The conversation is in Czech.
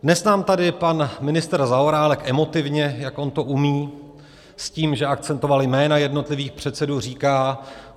Dnes nám tady pan ministr Zaorálek emotivně, jak on to umí, s tím, že akcentoval jména jednotlivých předsedů, říká.